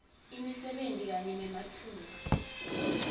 imisebenti kanye nematfuba